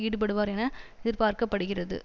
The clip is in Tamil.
ஈடுபடுவார் என எதிர்பார்க்க படுகிறது